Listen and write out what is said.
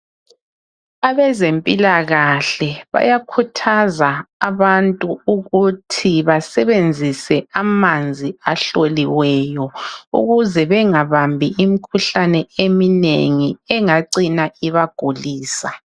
Abezempilakahle bayakhuthaza abantu ukuthi basebenzise amanzi ahloliweyo ukuze bengabambi imkhuhlane eminengi engacina ibagulisa.